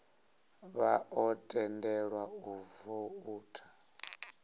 vha ḓo tendelwa u voutha